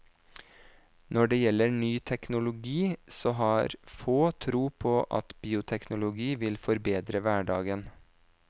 Når det gjelder ny teknologi, så har få tro på at bioteknologi vil forbedre hverdagen.